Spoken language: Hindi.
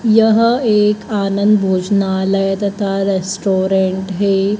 यह एक आनंद भोजनालय तथा रेस्टोरेंट है।